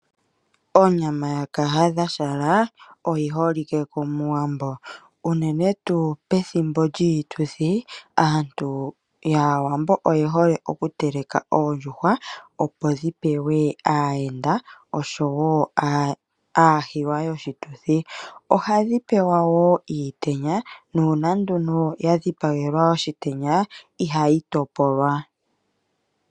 Onyama ya kahadha shala oyiholike komuwambo unene tuu pethimbo lyiituthi aantu yaawambo oyehole oku teleka oondjuhwa opo dhipewe aayenda oshowo aahiwa yoshituthi . Ohadhi pewa woo iitenya nuuna dha dhipagelwa iitenya ihadhi topolwa .